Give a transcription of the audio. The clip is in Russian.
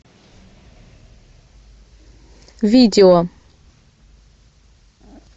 видео